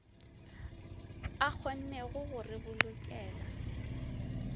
a kgonnego go re bolokela